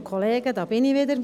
Da bin ich wieder.